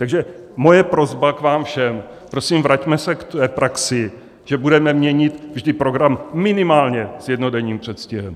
Takže moje prosba k vám všem: prosím, vraťme se k praxi, že budeme měnit vždy program minimálně s jednodenním předstihem.